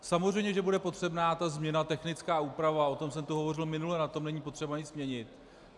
Samozřejmě že bude potřebná ta změna, technická úprava, o tom jsem tu hovořil minule, na tom není potřeba nic měnit.